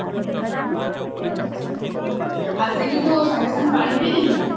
ଆସିକି ତୁ ସାଙ୍ଗେ ସାଙ୍ଗେ ପାଣି ପିଇ ଦେଇଛୁ କି